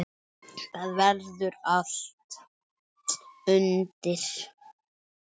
Þar verður allt undir.